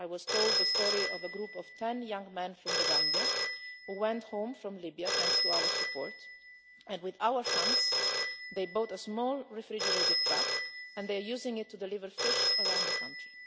I was told the story of a group of ten young men from the Gambia who went home from Libya, thanks to our support, and with our funds bought a small refrigerated truck and are using it to deliver fish around the country.